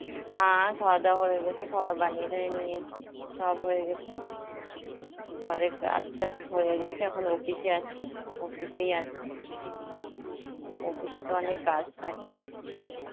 হ্যাঁ খাওয়া দাওয়া হয়ে গেছে, খাবার বানিয়ে টানিয়ে নিয়েছি, সব হয়ে গেছে, ঘরের কাজ টাজ হয়ে গেছে, এখন office এ আছি, office এই আছি. office এ তো অনেক কাজ থাকে.